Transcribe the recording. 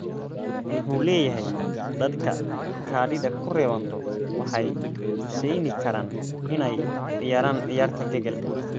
Muxuu leyahy dadka kadidha kurewanto waxay kuseynikaran inay ciyaran ciyarta kegel.